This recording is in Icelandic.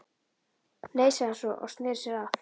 Nei, sagði hann svo, og sneri sér að